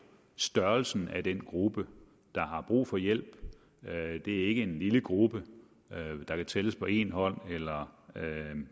størrelsen af den gruppe der har brug for hjælp det er ikke en lille gruppe der kan tælles på én hånd eller